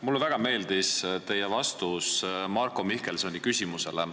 Mulle väga meeldis teie vastus Marko Mihkelsoni küsimusele.